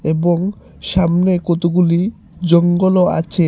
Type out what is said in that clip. এবং সামনে কতগুলি জঙ্গলও আছে।